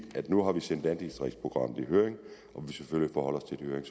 at nu har vi sendt landdistriktsprogrammet i høring